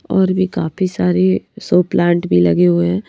और भी काफी सारे सोप प्लांट लगे हुए हैं।